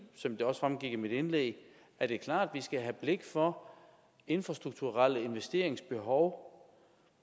som det også fremgik af mit indlæg er det klart at vi skal have blik for infrastrukturelle investeringsbehov